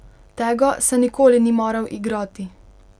Tega se nikoli ni maral igrati.